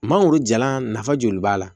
Mangoro jalan nafa joli b'a la